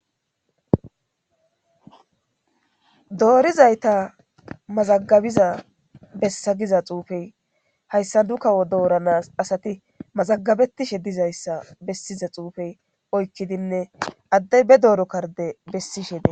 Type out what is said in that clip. Boorizayta mazagabiza bessa giza xuufey hayssa dukawo dooranas asati mazagabetishe dizayssa bessiza xuufey oykkidinne addey be dooro karde bessishe de..